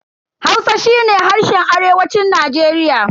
Hausa shi ne harshen arewacin Najeriya.